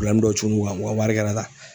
dɔ cun n'u kan , u ka wari kɛ la tan.